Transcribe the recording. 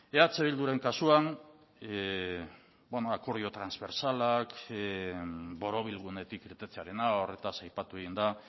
eh bilduren kasuan beno akordio transbersalak borobilgunetik irtetearena horretaz aipatu egin da